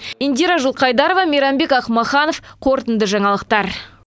индира жылқайдарова мейрамбек ақмаханов қорытынды жаңалықтар